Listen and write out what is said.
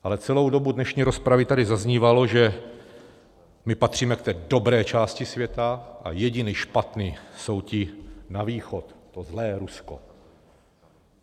Ale celou dobu dnešní rozpravy tady zaznívalo, že my patříme k té dobré části světa a jediní špatní jsou ti na východ, to zlé Rusko.